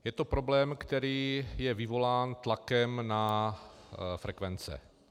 Je to problém, který je vyvolán tlakem na frekvence.